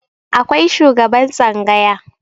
akwai shugaban tsangaya